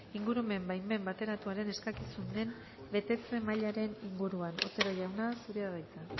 ingurumen baimen bateratuaren eskakizunen betetze mailaren inguruan otero jauna zurea da hitza